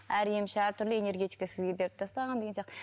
әр емші әртүрлі энергетика сізге беріп тастаған деген сияқты